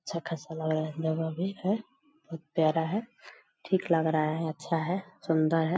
अच्छा खासा लग रहा है जगह भी है बहुत प्यारा है ठीक लग रहा है अच्छा है सुंदर है।